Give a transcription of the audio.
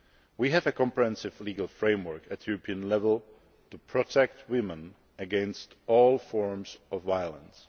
We have a comprehensive legal framework at European level to protect women against all forms of violence.